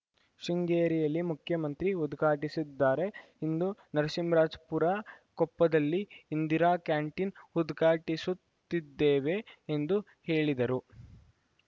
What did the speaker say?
ಶೃಂಗೇರಿಯಲ್ಲಿ ಮುಖ್ಯಮಂತ್ರಿ ಉದ್ಘಾಟಿಸಿದ್ದಾರೆಇಂದು ನರಸಿಂಹರಾಜಪುರ ಕೊಪ್ಪದಲ್ಲಿ ಇಂದಿರಾ ಕ್ಯಾಂಟೀನ್‌ ಉದ್ಘಾಟಿಸುತ್ತಿದ್ದೇವೆ ಎಂದು ಹೇಳಿದರು